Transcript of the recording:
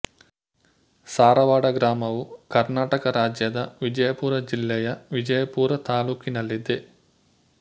ಸಾರವಾಡ ಗ್ರಾಮವು ಕರ್ನಾಟಕ ರಾಜ್ಯದ ವಿಜಯಪುರ ಜಿಲ್ಲೆಯ ವಿಜಯಪುರ ತಾಲ್ಲೂಕಿನಲ್ಲಿದೆ